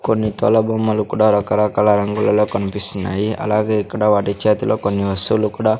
కొన్ని తోల బొమ్మలు కూడా రకరకాల రంగులలో కన్పిస్తున్నాయి అలాగే ఇక్కడ వాటి చేతిలో కొన్ని వస్తువులు కూడా--